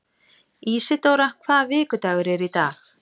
Ísidóra, hvaða vikudagur er í dag?